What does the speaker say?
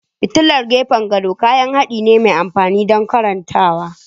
Fitilar gefen gado kayan haɗi ne mai amfani don karantawa.